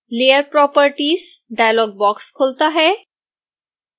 layer properties dialog box खुलता है